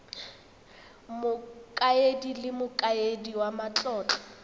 mokaedi le mokaedi wa matlotlo